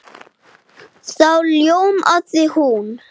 Þá ljómaði hún.